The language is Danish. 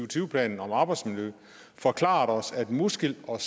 tyve planen om arbejdsmiljø forklarede os at muskel og